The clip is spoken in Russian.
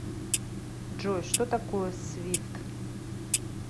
джой что такое свифт